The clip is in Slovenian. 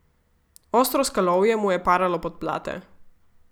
Ostro skalovje mu je paralo podplate.